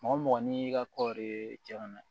Mɔgɔ mɔgɔ n'i ka kɔɔri cɛn na